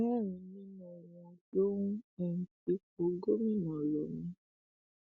mẹrin nínú wọn ló ń um fipò gómìnà lọ mí